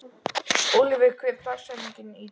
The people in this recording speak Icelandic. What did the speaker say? Oliver, hver er dagsetningin í dag?